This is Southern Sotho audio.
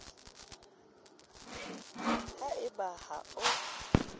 ha e ba ha o